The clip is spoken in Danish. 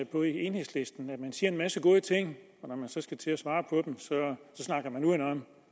på i enhedslisten hvor man siger en masse gode ting og når man så skal til at svare på dem så snakker man udenom